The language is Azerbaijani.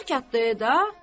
Xuday yatdı e da.